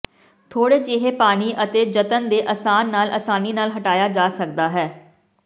ਥੋੜ੍ਹੇ ਜਿਹੇ ਪਾਣੀ ਅਤੇ ਜਤਨ ਦੇ ਅਸਾਨ ਨਾਲ ਆਸਾਨੀ ਨਾਲ ਹਟਾਇਆ ਜਾ ਸਕਦਾ ਹੈ